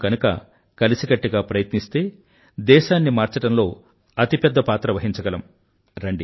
మనం గనుక కలిసికట్టుగా ప్రయత్నిస్తే దేశాన్ని మార్చడంలో అతిపెద్ద పాత్ర వహించగలం